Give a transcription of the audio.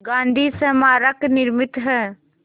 गांधी स्मारक निर्मित है